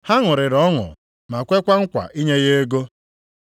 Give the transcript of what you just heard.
Ha ṅụrịrị ọṅụ ma kwekwa nkwa inye ya ego.